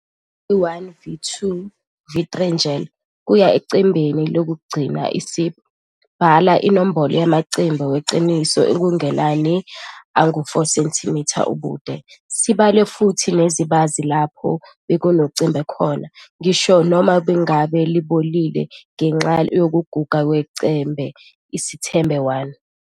U-V1, V2, V3 njl. kuye ecembeni lokugcina isib. Bala inombolo yamacembe eqiniso okungenani angu-4 cm ubude. Sibale futhi nezibazi lapho bekunecembe khona - ngisho noma ngabe libunile ngenxa yokuguga kwecembe, Isithombe 1.